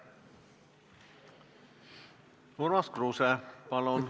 Urmas Kruuse, palun!